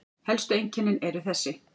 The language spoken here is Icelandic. Helstu einkennin eru þessi